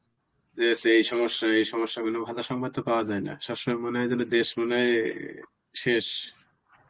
যে সেই সমস্যা, এই সমস্যা গুলো ভালো সম্ভব তো পাওয়া যায় না. সব সময় মনে হয় যেন দেশ মনে হয় অ্যাঁ শেষ.